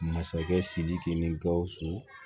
Masakɛ sidiki ni gausu